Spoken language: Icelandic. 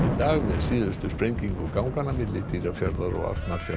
síðustu sprengingu ganganna milli Dýrafjarðar og Arnarfjarðar